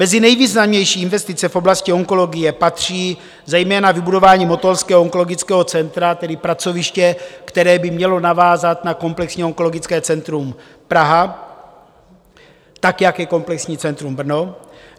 Mezi nejvýznamnější investice v oblasti onkologie patří zejména vybudování motolského onkologického centra, tedy pracoviště, které by mělo navázat na Komplexní onkologické centrum Praha, tak jak je Komplexní centrum Brno.